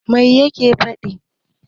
Mai yake faɗi?